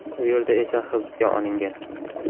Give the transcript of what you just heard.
U yerda esa hibsga olingan.